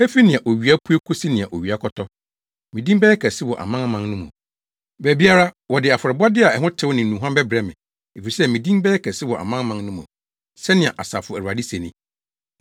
“Efi nea owia pue kosi nea owia kɔtɔ, me din bɛyɛ kɛse wɔ amanaman no mu. Baabiara, wɔde afɔrebɔde a ɛho tew ne nnuhuam bɛbrɛ me, efisɛ, me din bɛyɛ kɛse wɔ amanaman no mu,” sɛnea Asafo Awurade se ni.